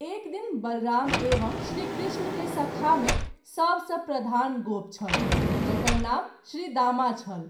एक दिन बलराम एवं श्री कृष्ण के सखा मे सब सँ प्रधान गोप छल जकर नाम श्री दामा छल।